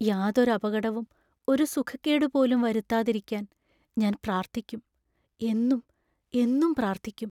യാതൊരപകടവും ഒരു സുഖക്കേടു പോലും വരുത്താതിരിക്കാൻ ഞാൻ പ്രാർത്ഥിക്കും; എന്നും എന്നും പ്രാർത്ഥിക്കും.